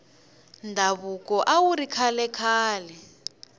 ndhavuko awuri kahle khale